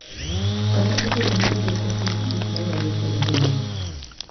Kata obedo ni idwoko piny gik ma nyalo kelo hinyruok,